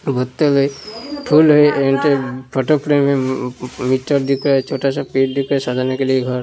दो ह ते हैं। फुल हैं एंड फोटो फ्रेम हैं। मीटर दिख रहा है छोटा सा पेड़ दिख रहा है। साजाने के लिए घर --